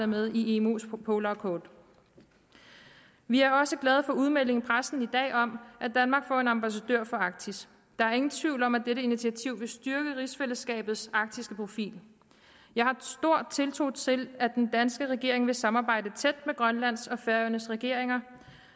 med i imos polarcode vi er også glade for udmeldingen i pressen i dag om at danmark får en ambassadør for arktis der er ingen tvivl om at dette initiativ vil styrke rigsfællesskabets arktiske profil jeg har stor tiltro til at den danske regering vil samarbejde tæt med grønlands og færøernes regeringer